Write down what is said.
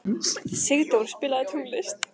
Sigdór, spilaðu tónlist.